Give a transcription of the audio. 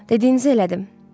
Dediyinizi elədim.